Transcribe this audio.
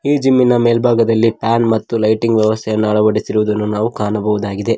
ಈ ಜಿಮ್ ನ ಮೇಲ್ಭಾಗದಲ್ಲಿ ಫ್ಯಾನ್ ಮತ್ತು ಲೈಟಿಂಗ್ ವ್ಯವಸ್ಥೆ ಅನ್ನ ಅಳವಡಿಸಿರುವುದನ್ನು ನಾವು ಕಾಣಬಹುದಾಗಿದೆ.